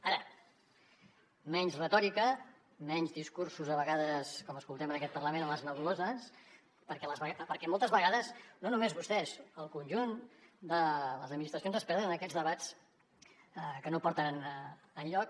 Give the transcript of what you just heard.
ara menys retòrica menys discursos a vegades com escoltem en aquest parlament a les nebuloses perquè moltes vegades no només vostès el conjunt de les administracions es perden en aquests debats que no porten enlloc